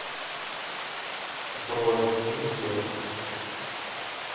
бронь успех